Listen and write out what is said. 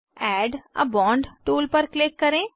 add a bond tool पर click करें